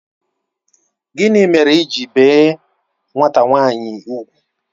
Gịnị mere i ji bie nwata nwanyi úgwù?